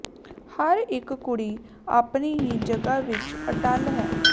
ਹਰ ਇੱਕ ਕੁੜੀ ਆਪਣੀ ਹੀ ਜਗ੍ਹਾ ਵਿੱਚ ਅਟੱਲ ਹੈ